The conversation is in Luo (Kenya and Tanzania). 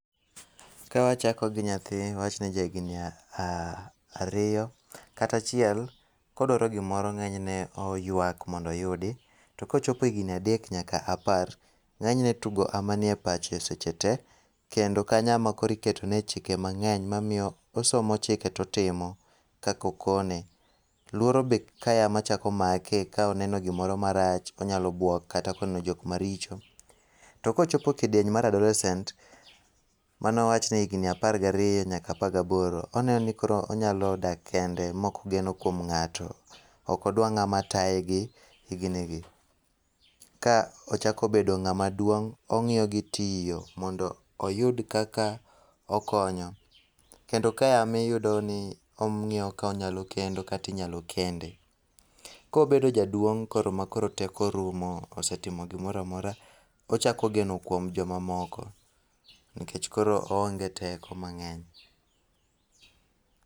Kawachako gi nyathi, awachni ja higni ariyo kata achiel, kodwaro gimoro ng'enyne oywak mondo oyudi. Tokochopo higni adek nyaka apar, ng'enyne tugo ema nie pache seche tee, kendo kanyo ema koro iketo neye chike mang'eny makoro omiyo osomo chike totimo kakokone. Luoro be kae ema chako makee, ka oneno gimoro marach, onyalo buok kata ka oneno jok maricho. To kochopo kidieny mar adolescent, mane owach ni higni apar gariyo nyaka apar gaboro, oneno ni koro onyalo dak kende mok ogeno kuom ng'ato. Odwa ng'ama taye gi higni gi. Ka ochako bedo ng'amaduong', ong'iyo gitiyo mondo oyud kaka okonyo kendo kae ema ong'iyo ni onyalo kendo kata inyalo kende. Kobedo jaduong' makoro teko orumo, osetimo gimoro amora, ochako geno kuom joma moko nikech koro oonge teko mang'eny.